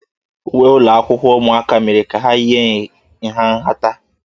Uwe ụlọ akwụkwọ ụmụaka mere ka ha yie nha nhata.